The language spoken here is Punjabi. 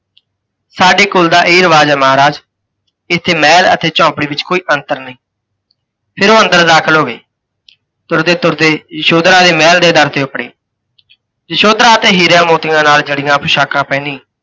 ਸਾਡੇ ਕੁੱਲ ਦਾ ਇਹ ਰਿਵਾਜ਼ ਹੈ ਮਹਾਰਾਜ, ਇੱਥੇ ਮਹਿਲ ਅਤੇ ਝੋਂਪੜੀ ਵਿੱਚ ਕੋਈ ਅੰਤਰ ਨਹੀਂ। ਫਿਰ ਓਹ ਅੰਦਰ ਦਾਖਿਲ ਹੋ ਗਏ। ਤੁਰਦੇ ਤੁਰਦੇ ਯਸ਼ੋਧਰਾ ਦੇ ਮਹਿਲ ਦੇ ਦਰ ਤੇ ਉਪੜੇ। ਯਸ਼ੋਧਰਾ ਤੇ ਹੀਰਿਆਂ ਮੋਤੀਆਂ ਨਾਲ ਜੜ੍ਹੀਆਂ ਪੁਸ਼ਾਕਾਂ ਪਹਿਨੀ